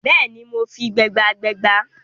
Bẹ́ẹ̀ni, mo fi gbẹ́bàgbẹ́bà